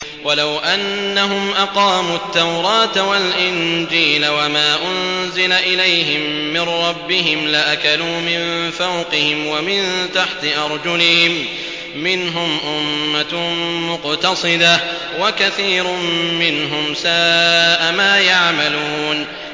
وَلَوْ أَنَّهُمْ أَقَامُوا التَّوْرَاةَ وَالْإِنجِيلَ وَمَا أُنزِلَ إِلَيْهِم مِّن رَّبِّهِمْ لَأَكَلُوا مِن فَوْقِهِمْ وَمِن تَحْتِ أَرْجُلِهِم ۚ مِّنْهُمْ أُمَّةٌ مُّقْتَصِدَةٌ ۖ وَكَثِيرٌ مِّنْهُمْ سَاءَ مَا يَعْمَلُونَ